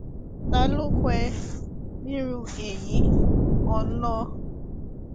ta ló kọ ẹ nírú èyí olóh